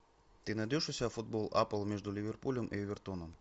ты найдешь у себя футбол апл между ливерпулем и эвертоном